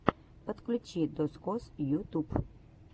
подключи дозкоз ютюб